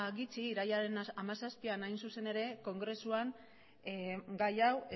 gutxi irailaren hamazazpian hain zuzen ere kongresuan gai hau